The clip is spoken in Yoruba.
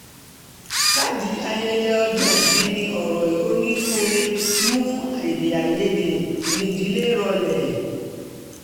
káàdì ayẹyẹ ọjọ́ ìbí ní ọ̀rọ̀ onínúure mú èdè-àì-yedè ìdílé rọlẹ̀